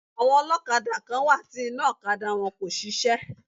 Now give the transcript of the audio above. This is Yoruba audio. Àwọn ọlọ́kadà kán wá ti iná ọ̀kadà wọn kò ṣiṣẹ́.